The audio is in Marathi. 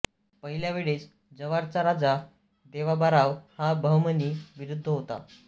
पहिल्या वेळेस जव्हारचा राजा देवाबाराव हा बहमणी विरुद्ध होता